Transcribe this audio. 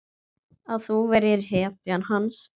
Að þú værir hetjan hans.